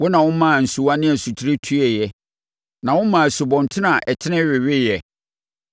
Wo na womaa nsuwa ne nsutire tueeɛ; na womaa nsubɔntene a ɛtene weweeɛ.